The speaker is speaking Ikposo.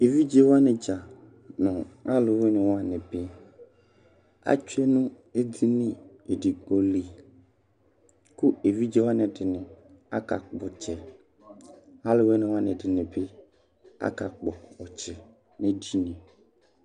Evidze wani dzaa nʋ alʋwini wani bi atsue nʋ edini edigbo li kʋ evidze wani ɛdini aka kp'ɔtsɛ, alʋwini wani ɛdini bi aka kpɔ ɔtsɛ n'edini